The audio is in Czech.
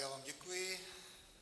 Já vám děkuji.